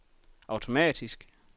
automatisk